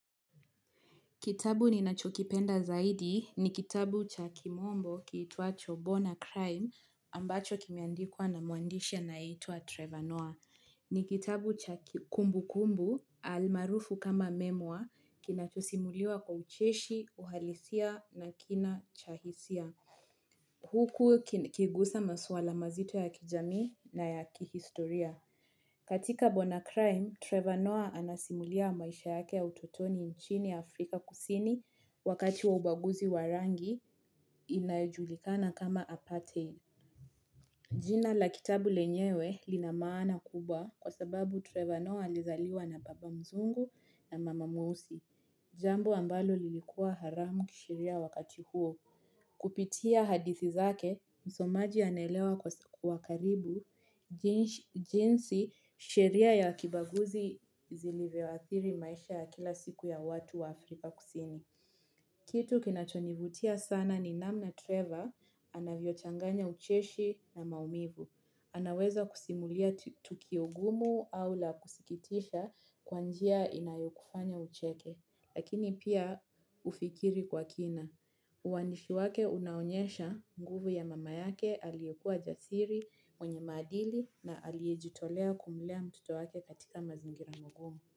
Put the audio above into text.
Kitabu ninachokipenda zaidi ni kitabu cha kimombo kitwacho Boan A Crime ambacho kimeandikwa na muandisha anaye itwa Trevor Noah. Ni kitabu cha kimumbu kumbu almarufu kama memwa kinachosimuliwa kwa ucheshi, uhalisia na kina cha hisia. Huku kikigusa masuala mazito ya kijamii na ya kihistoria. Katika bonacrime, Trevor Noah anasimulia maisha yake utotoni nchini Afrika kusini wakati wa ubaguzi warangi inayojulikana kama aparthein. Jina la kitabu lenyewe linamaana kubwa kwa sababu Trevor Noah alizaliwa na baba mzungu na mama mweusi. Jambo ambalo lilikua haramu kisheria wakati huo. Kupitia hadithi zake, msomaji anaelewa kwa karibu, jinsi sheria ya kibaguzi ilivyoawathiri maisha ya kila siku ya watu wa Afrika kusini. Kitu kinachonivutia sana ni namna Trevor, anavyo changanya ucheshi na maumivu. Anaweza kusimulia tukio ngumu au la kusikitisha kwanjia inayokufanya ucheke. Lakini pia ufikiri kwa kina. Uwaindifi wake unaonyesha nguvu ya mama yake aliyekua jasiri mwenye maadili na aliyejitolea kumulea mtoto wake katika mazingira magumu.